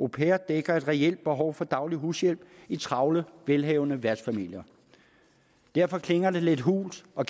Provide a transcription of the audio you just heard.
au pair dækker et reelt behov for daglig hushjælp i travle velhavende værtsfamilier derfor klinger det lidt hult og